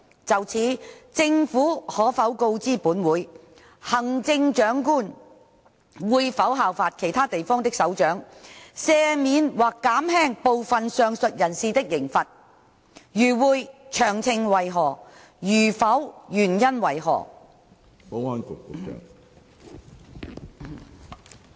就此，政府可否告知本會，行政長官會否效法其他地方的首長，赦免或減輕部分上述人士的刑罰；如會，詳情為何；如否，原因為何？